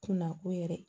Kunna o yɛrɛ